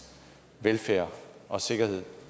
velfærd og sikkerhed